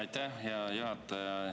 Aitäh, hea juhataja!